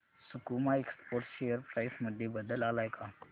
सकुमा exports share price मध्ये बदल आलाय का